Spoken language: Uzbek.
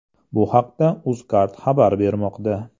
Bu haqda UzCard xabar bermoqda .